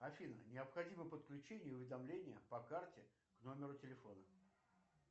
афина необходимо подключение уведомления по карте к номеру телефона